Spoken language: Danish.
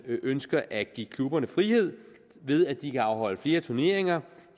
ønsker at give klubberne frihed ved at de kan afholde flere turneringer